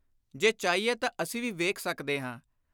ਜੇ ਚਾਹੀਏ ਤਾਂ ਅਸੀਂ ਵੀ ਵੇਖ ਸਕਦੇ ਹਾਂ।